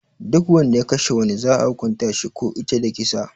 Duk Wanda ya Kashe wani za'a hukunta shi ko ita da kisa.